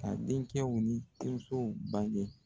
Ka denkɛw ni denmusow bange